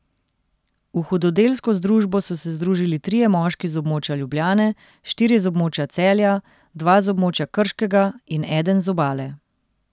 V hudodelsko združbo so se združili trije moški z območja Ljubljane, štirje z območja Celja, dva z območja Krškega in eden z Obale.